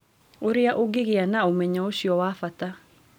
Ũrĩa ũngĩgĩa na ũmenyo ũcio wa bata.